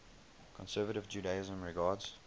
conservative judaism regards